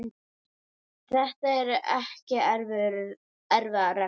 Þetta eru ekki erfiðar reglur.